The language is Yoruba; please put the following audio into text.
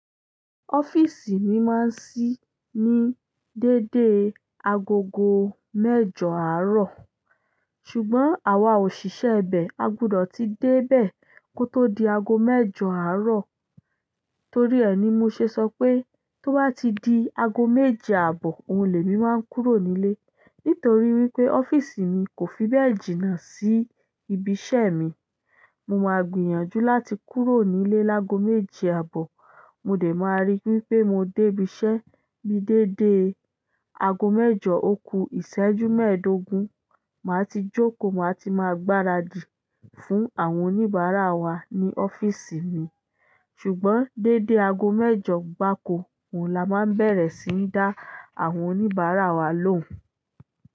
Ọ́fíìsì mi máa ń ṣí ní dédé aago mẹ́jọ àárọ̀, ṣùgbọ́n àwa òṣìṣẹ́ ibẹ̀ a gbọdọ̀ ti dé bẹ̀ kò tó di aago mẹ́jọ àárọ̀. Torí ẹ ni mo ṣe sọ pé tó bá ti di aago méje àbọ̀, òun lè mi máa ń kúrò nílé. Nítorí wípé ọ́fíìsì mi kò fi bẹ́ẹ̀ jìnnà sí ibi iṣẹ́ mi, mo máa gbìyànjú láti kúrò nílé láago méje àbọ̀, mo dẹ̀ máa rí wípé mo dé ibi iṣẹ́ mi dédé aago mẹ́jọ òkú ìṣẹ́jú mẹ́ẹ̀ẹ́dógún, màá ti jókòó, màá ti máa gbaradì fún àwọn oníbàárà wa ní ọ́fíìsì mi. Ṣùgbọ́n dédé aago mẹ́jọ gbaàko, òun la máa bẹ̀rẹ̀ síí dá àwọn oníbàárà wa lóhùn.